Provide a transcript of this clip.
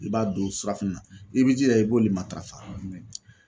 I b'a dun surafɛnɛ na, i b'i jija i b'olu matarafa .